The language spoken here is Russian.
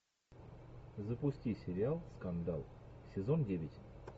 запусти сериал скандал сезон девять